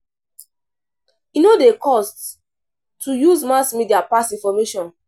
E no dey cost to use mass media pass information.